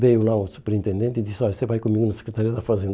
Veio lá o superintendente e disse, olha, você vai comigo na Secretaria da Fazenda.